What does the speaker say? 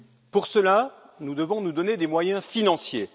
Pour cela, nous devons nous donner des moyens financiers.